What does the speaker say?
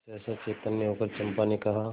सहसा चैतन्य होकर चंपा ने कहा